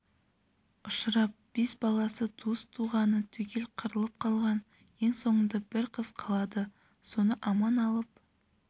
ұшырап бес баласы туыс-туғаны түгел қырылып қалған ең соңында бір қызы қалады соны аман алып